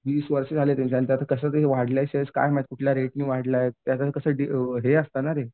वीस वर्ष झाले आता आणि त्यात कसं झालंय वाढलाय शेअर्स काय माहिती कुठल्या रेटने वाढला? ते आता कसं हे असतं ना ते.